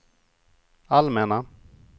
allmänna